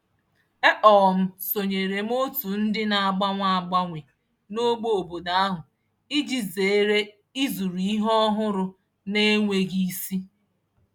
E um sonyere m otu ndị na-agbanwe agbanwe n'ogbe obodo ahụ iji zeere ịzụrụ ihe ọhụrụ n'enweghị isi.